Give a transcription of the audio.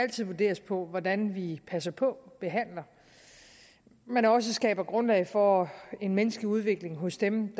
vurderes på hvordan vi passer på behandler men også skaber grundlag for en menneskelig udvikling hos dem